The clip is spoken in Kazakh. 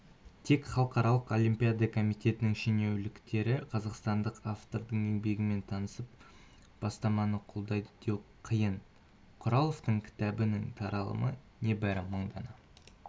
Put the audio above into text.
тек халықаралық олимпиада комитетінің шенеуніктері қазақстандық автордың еңбегімен танысып бастаманы қолдайды деу қиын құраловтың кітабының таралымы небары мың дана